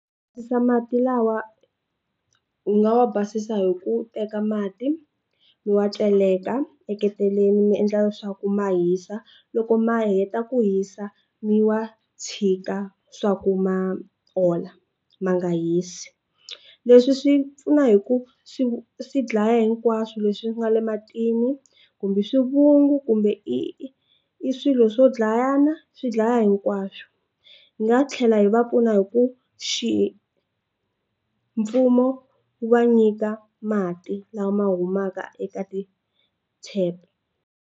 mati lawa u nga wa basisa hi ku teka mati mi wa tseleka eketleleni mi endla leswaku ma hisa loko ma heta ku hisa mi wa tshika swa ku ma hola ma nga hisi leswi swi pfuna hi ku swi swi dlaya hinkwaswo leswi nga le matini kumbe swivungu kumbe i i swilo swo dlayana swi dlaya hinkwaxo hi nga tlhela hi va pfuna hi ku mfumo wu va nyika mati lama humaka eka ti-tap.